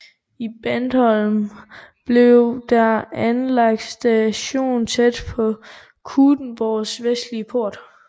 I Bandholm blev der anlagt station tæt ved Knuthenborgs vestlige port